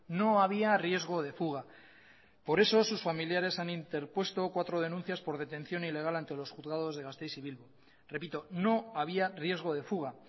no había riesgo de fuga por esos sus familiares han interpuesto cuatro denuncias por detención ilegal ante los juzgados de gasteiz y bilbo repito no había riesgo de fuga